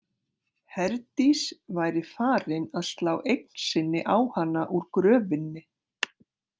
Herdís væri farin að slá eign sinni á hana úr gröfinni.